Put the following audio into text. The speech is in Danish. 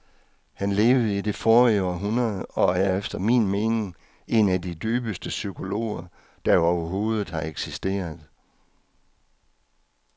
Han levede i det forrige århundrede og er efter min mening en af de dybeste psykologer, der overhovedet har eksisteret.